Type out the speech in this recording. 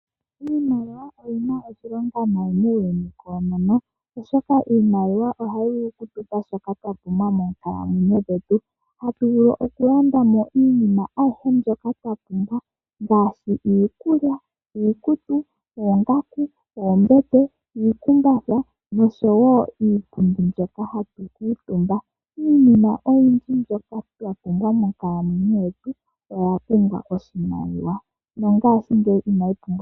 Iimaliwa oyina oshilonga nayi muuyuni koonono oshoko iimaliwa ohayi vulu okutupa shoka twapumbwa moonkalamwenyo dhetu, hatu vulu okulandamo iinima ayihe mbyoka twapumbwa ngaashi iikulya, iikutu, oongaku, oombete, omakumbatha niipundi mbyoka hatu kuutumba. Iinima oyindji mbyoka twa pumbwa monkalamwenyo yetu oya pumbwa oshimaliwa.